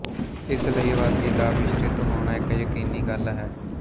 ਇਸ ਲਈ ਆਬਾਦੀ ਦਾ ਮਿਸ਼੍ਰਿਤ ਹੋਣਾ ਇੱਕ ਯਕੀਨੀ ਗੱਲ ਹੈ